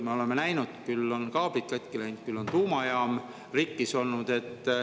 Me oleme näinud, et küll on kaablid katki läinud, küll on tuumajaam rikkis olnud.